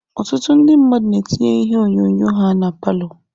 Ọtụtụ ndị mmadụ na-etinye ihe onyonyo ha na palọ.